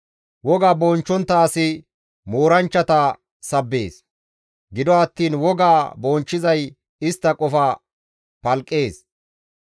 Woga bonchchontta asi mooranchchata sabbees; gido attiin wogaa bonchchizay istta qofa palqqees.